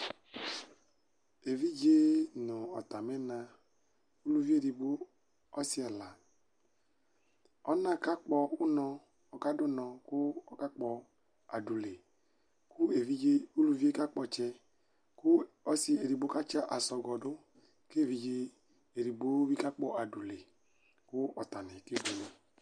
Evidze nʋ ɔtami na, ʋlʋvi edigbo ɔsi ɛla, ɔna kadʋ ʋnɔ kʋ akakpɔ adʋle kʋ evidze ʋlʋvi yɛ kakpɔ ɔtsɛ, kʋ ɔsi edigbo katsi asɔgɔdʋ, kʋ evidze edigbo bi kakpɔ adʋle kʋ ɔtabi kebuele